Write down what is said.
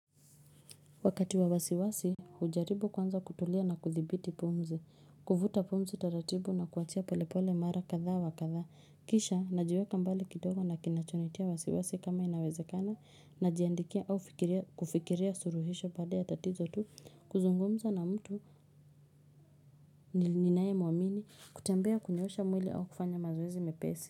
Wakati wa wasiwasi, hujaribu kwanza kutulia na kudhibiti pumzi. Kuvuta pumzi tatatibu na kuachia polepole mara katha wa katha. Kisha, najiweka mbali kidogo na kinachonitia wasiwasi kama inawezekana, najiandikia au kufikiria suluhisho baada ya tatizo tu, kuzungumza na mtu ninaye mwamini, kutembea kunyoosha mwili au kufanya mazoezi mepesi.